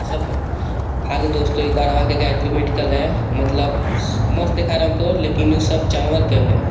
सब गलत हेलो दोस्तों ये गढ़वा के गायत्री मेडिकल हे मतलब स मस्त दिखा रहा हे हमको लेकिन वो सब जानवर के हे.